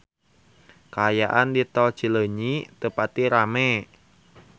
Kaayaan di Tol Cileunyi teu pati rame